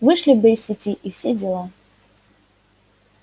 вышли бы из сети и все дела